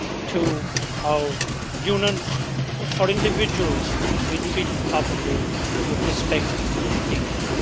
to our Union, but for individuals to be treated properly, with respect and dignity.